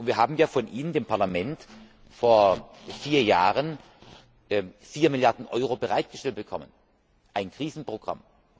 Wir haben von Ihnen, dem Parlament, vor vier Jahren vier Milliarden Euro bereitgestellt bekommen, für ein Krisenprogramm.